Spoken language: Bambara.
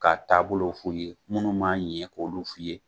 Ka taabolo f'i ye minnu b'a ɲɛ k'olu f'i ye.